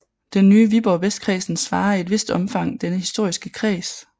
Den nye Viborg Vestkredsen svarer i et vist omfang denne historiske kreds